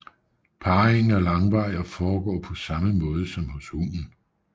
Parringen er langvarig og foregår på samme måde som hos hunden